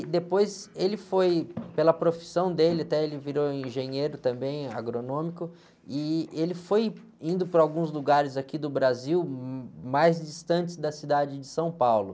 E depois ele foi, pela profissão dele, até ele virou engenheiro também, agronômico, e ele foi indo para alguns lugares aqui do Brasil, mais distantes da cidade de São Paulo.